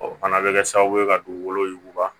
O fana bɛ kɛ sababu ye ka dugukolo yuguba